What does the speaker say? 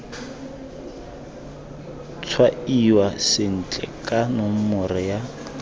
tshwaiwa sentle ka nomoro ya